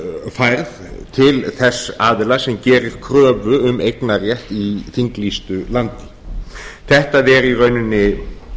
færð til þess aðila sem gerir kröfu um eignarrétt í þinglýstu landi þetta er í rauninni